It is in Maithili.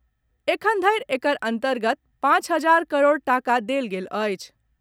एखनधरि एकर अंतर्गत पांच हजार करोड़ टाका देल गेल अछि।